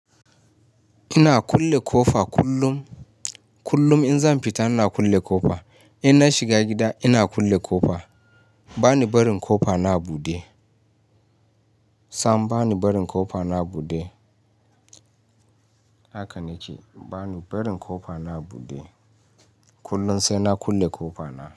Ina kulle kofa kullum. Kullum in zan fita ina kulle kofa. In na shiga gida ina kulle kofa. Bani barin kofa na a bude. Sam bani barin kofa na a bude. Haka nike, bani barin kofa na a bude. Kullum sai na kulle kofa na.